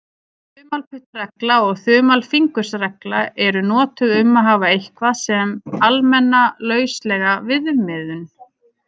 Þumalputtaregla og þumalfingursregla eru notuð um að hafa eitthvað sem almenna, lauslega viðmiðun.